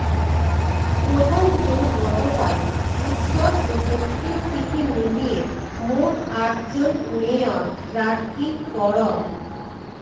প্রথম দিন গতকাল উত্তর ও দক্ষিণ সিটি মিলিয়ে মোট আটজন মেয়র প্রার্থী ফরম